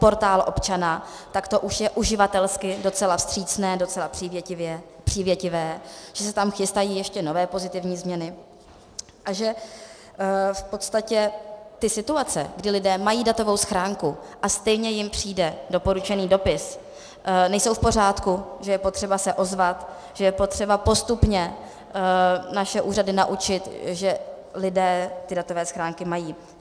Portál občana, tak to už je uživatelsky docela vstřícné, docela přívětivé, že se tam chystají ještě nové, pozitivní změny a že v podstatě ty situace, kdy lidé mají datovou schránku, a stejně jim přijde doporučený dopis, nejsou v pořádku, že je potřeba se ozvat, že je potřeba postupně naše úřady naučit, že lidé ty datové schránky mají.